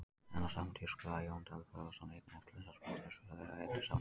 En á sama tíma skrifaði Jón Daði Böðvarsson einn efnilegasti knattspyrnumaður þeirra undir samning.